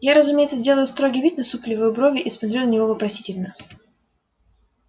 я разумеется делаю строгий вид насупливаю брови и смотрю на него вопросительно